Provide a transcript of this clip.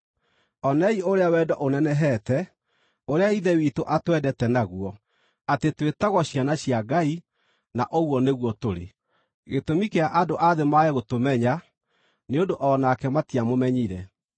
Onei ũrĩa wendo ũnenehete, ũrĩa Ithe witũ atwendete naguo, atĩ twĩtagwo ciana cia Ngai! Na ũguo nĩguo tũrĩ! Gĩtũmi kĩa andũ a thĩ mage gũtũmenya nĩ ũndũ o nake matiamũmenyire.